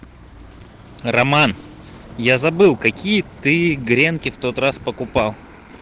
роман я забыл какие ты гренки в тот раз покупал